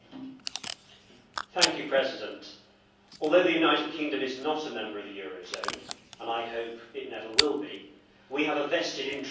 Mr President, although the United Kingdom is not a member of the euro zone and I hope it never will be we have a vested interest in its success.